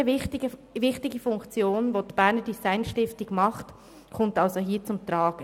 Eine weitere wichtige Funktion, welche die Berner Design Stiftung wahrnimmt, kommt somit hier zum Tragen: